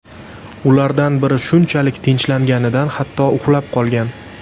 Ulardan biri shunchalik tinchlanganidan hatto uxlab qolgan.